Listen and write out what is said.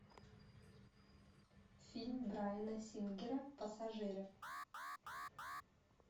фильм брайана сингера пассажиры